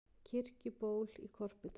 Kirkjuból í Korpudal.